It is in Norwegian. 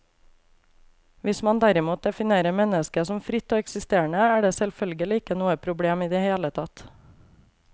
Hvis man derimot definerer mennesket som fritt og eksisterende, er det selvfølgelig ikke noe problem i det hele tatt.